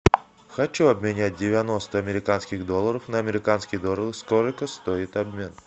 хочу обменять девяносто американских долларов на американские доллары сколько стоит обмен